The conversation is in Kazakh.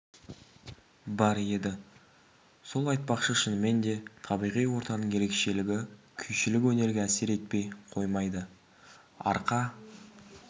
бар еді сол айтпақшы шынымен де табиғи ортаның ерекшелігі күйшілік өнерге әсер етпей қоймайды арқа